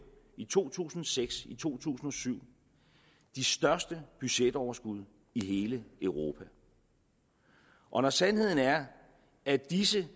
i to tusind og seks og i to tusind og syv de største budgetoverskud i hele europa og når sandheden er at disse